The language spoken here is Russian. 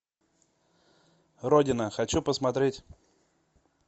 родина хочу посмотреть